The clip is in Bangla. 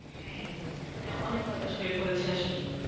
হ্যা অনেক হতাশ হয়ে পড়েছে আসলে